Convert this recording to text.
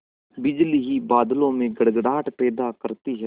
बिजली ही बादलों में गड़गड़ाहट पैदा करती है